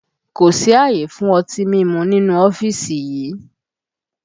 Kò sí àyè fún ọtí mímu nínú ọ́fíìsì yìí!